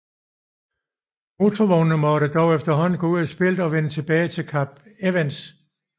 Motorvognene måtte dog efterhånden gå ud af spillet og vende tilbage til Kap Evans